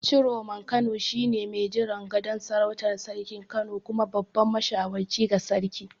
Ciroman Kano shine mai jiran gadon sarautar Sarkin Kano kuma babban mashawarci ga sarki.